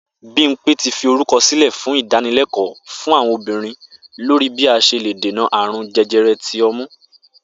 Bímpé ti fi orúkò̩ sílè̩ fún ìdánilé̩kò̩ó̩ fún àwo̩n obìnrin lórí bí a s̩e lè dènà àrùn je̩je̩re̩ ti o̩mú